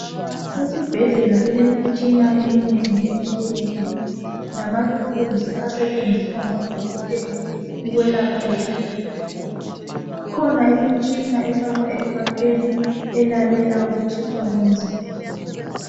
Esibhedlela kulemitshina eminengi etshiyeneyo lama thuluzi asetshenziswa ngodokotela ukwelapha izigulane. Ikhona imtshina efakwa ekhwapheni elalela ukutshisa komzimba.